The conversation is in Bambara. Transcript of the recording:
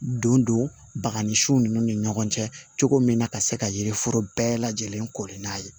Don don baga ni su ninnu ni ɲɔgɔn cɛ cogo min na ka se ka yiri foro bɛɛ lajɛlen koli n'a ye